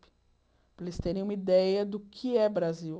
Para eles terem uma ideia do que é Brasil.